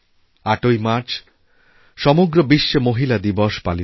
৮ই March সমগ্র বিশ্বে মহিলাদিবস পালিত হয়